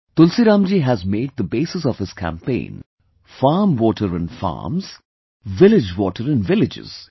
Tulsiram ji has made the basis of his campaign farm water in farms, village water in villages